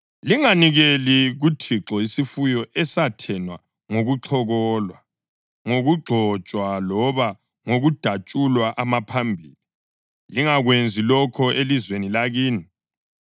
Linganikeli kuThixo isifuyo esathenwa ngokuxhokolwa, ngokugxotshwa loba ngokudatshulwa amaphambili. Lingakwenzi lokho elizweni lakini,